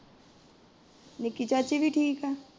ਨਿੱਕੀ ਚਾਚੀ ਵੀ ਠੀਕ ਏ।